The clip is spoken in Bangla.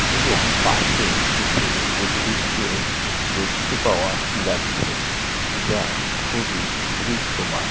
এবং পাশে কিছু উদ্ভিত কেও দেখতে পাওয়া যাছে। যা খুবই দৃশ্যমান।